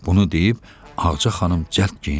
Bunu deyib Ağaca xanım cəld geyindi.